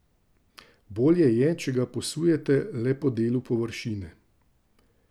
Bolje je, če ga posujete le po delu površine.